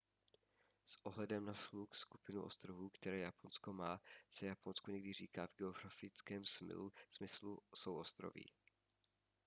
s ohledem na shluk/skupinu ostrovů které japonsko má se japonsku někdy říká v geografickém smyslu souostroví